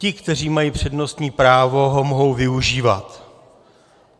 Ti, kteří mají přednostní právo, ho mohou využívat.